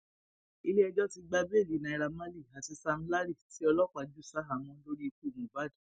iléẹjọ ti gba béèlì naira marley àti sam larry tí ọlọpàá jù ṣaháàmọ lórí ikú mohbad